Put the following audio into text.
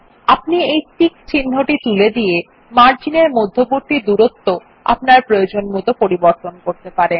আপনি এই টিক চিন্হটি তুলে দিয়ে মার্জিনের মধ্যবর্তী দুরত্ব আপনার প্রয়োজনমত পরিবর্তন করতে পারেন